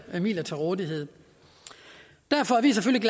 midler til rådighed derfor er vi selvfølgelig